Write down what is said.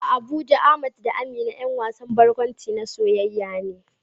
A Abuja Ahmad da Amina ƴan wasan barkwanci na soyayya ne